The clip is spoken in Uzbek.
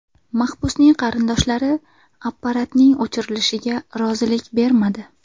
Mahbusning qarindoshlari apparatning o‘chirilishiga rozilik bermadi.